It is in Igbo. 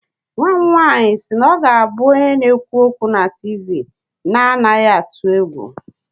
Nwa m nwanyị si na ọ ga-abụ onye na-ekwu okwu na TV na-anaghị atụ egwu